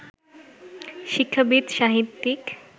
শিক্ষাবিদ সাহিত্যিক